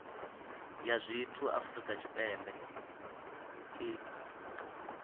ya zwithu afrika tshipembe i